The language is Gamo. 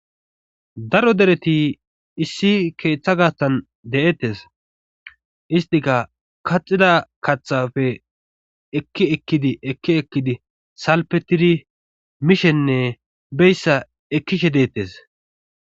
daro dereti issi keeththa gaastan de7ettes istika kaxida katxafe ekki ekkidi ekki ekkidi salpetidi mishenne beyssa ekkishe deettes